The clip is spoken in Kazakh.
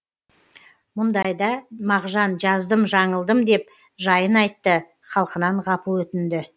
мұндайда мағжан жаздым жаңылдым деп жайын айтты халқынан ғапу өтінді